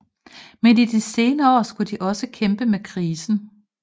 Men i de senere år skulle de også kæmpe med krisen